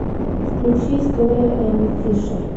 включи история эми фишер